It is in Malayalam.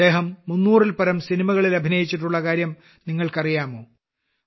അദ്ദേഹം 300ൽപരം സിനിമകളിൽ അഭിനയിച്ചിട്ടുള്ളകാര്യം നിങ്ങൾക്കറിയാമോ